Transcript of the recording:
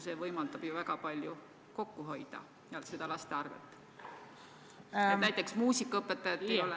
See võimaldab väga palju kokku hoida, aga seda laste arvel – näiteks siis, kui muusikaõpetajat ei ole.